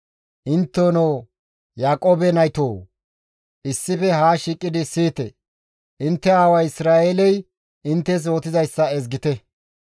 «Intteno Yaaqoobe naytoo! Issife haa shiiqidi siyite; intte aaway Isra7eeley inttes yootizayssa ezgite.